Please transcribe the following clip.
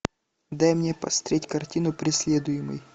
дай мне посмотреть картину преследуемый